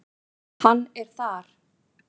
Hann er þar.